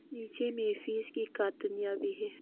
नीचे में फिश की भी है।